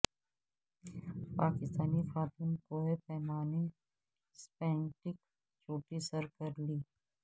پاکستانی خاتون کوہ پیما نے اسپینٹک چوٹی سر کر لی